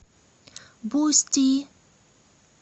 бусти